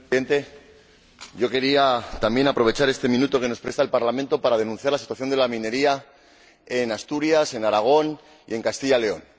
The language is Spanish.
Señor Presidente, yo quería también aprovechar este minuto que nos presta el Parlamento para denunciar la situación de la minería en Asturias, en Aragón y en Castilla León.